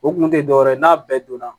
O kun tɛ dɔwɛrɛ ye n'a bɛɛ donna